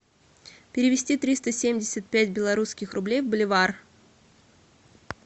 перевести триста семьдесят пять белорусских рублей в боливар